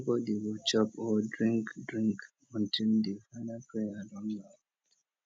nobody go chop or drink drink until di final prayer don loud